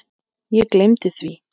Ég gleymdi því.